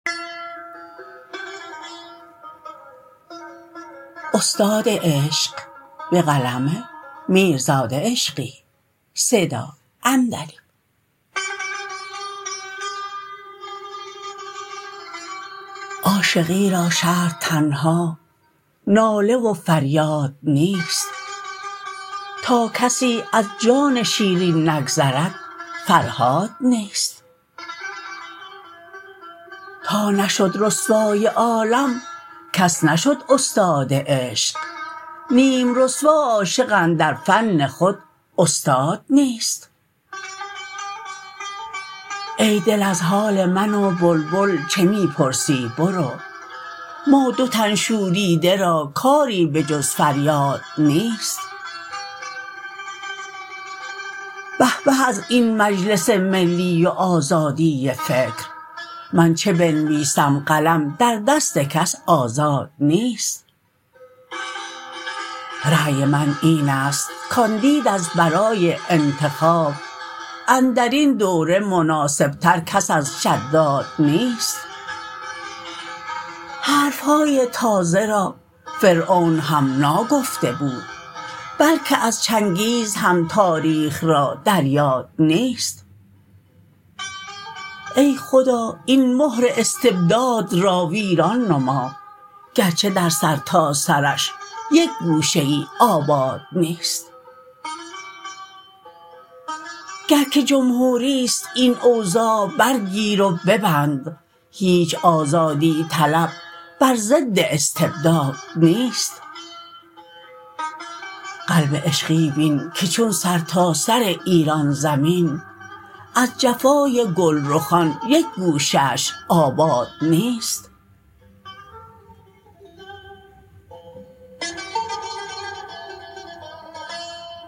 عاشقی را شرط تنها ناله و فریاد نیست تا کسی از جان شیرین نگذرد فرهاد نیست تا نشد رسوای عالم کس نشد استاد عشق نیم رسوا عاشق اندر فن خود استاد نیست ای دل از حال من و بلبل چه می پرسی برو ما دو تن شوریده را کاری به جز فریاد نیست به به از این مجلس ملی و آزادی فکر من چه بنویسم قلم در دست کس آزاد نیست رأی من اینست کاندید از برای انتخاب اندرین دوره مناسب تر کس از شداد نیست حرف های تازه را فرعون هم ناگفته بود بلکه از چنگیز هم تاریخ را در یاد نیست ای خدا این مهر استبداد را ویران نما گرچه در سرتاسرش یک گوشه ای آباد نیست گر که جمهوری است این اوضاع برگیر و به بند هیچ آزادی طلب بر ضد استبداد نیست قلب عشقی بین که چون سرتاسر ایران زمین از جفای گلرخان یک گوشه اش آباد نیست